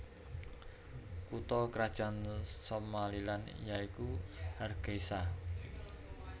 Kutha krajan Somaliland ya iku Hargeisa